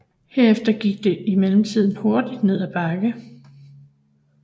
Herefter gik det imidlertid hurtigt ned ad bakke